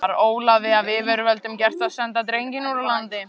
Var Ólafi af yfirvöldum gert að senda drenginn úr landi.